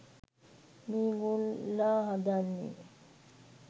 මේගොල්ලා හදන්නේ